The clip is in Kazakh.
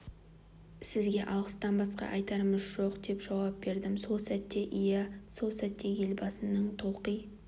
сізге алғыстан басқа айтарымыз жоқ деп жауап бердім сол сәтте иә сол сәтте елбасының толқи